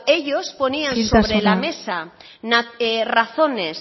ellos ponían sobre la mesa razones